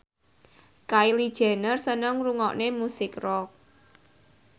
Kylie Jenner seneng ngrungokne musik rock